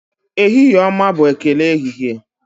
ehihie ọma' bụ ekele ehihie